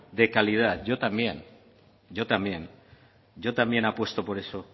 de calidad yo también apuesto por eso